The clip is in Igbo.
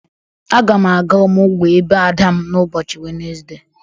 Aga m aga ọmụgwọ ebe ada m n'ụbọchị Wenezde.